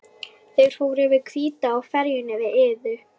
Þeir fóru yfir Hvítá á ferjunni við Iðu.